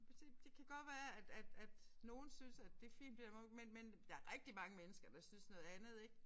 Du kan se det kan godt være at at at nogle synes at det fint nok men men der rigtig mange mennesker der synes noget andet ik